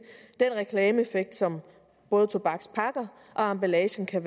den reklameeffekt som både tobakspakker og emballagen kan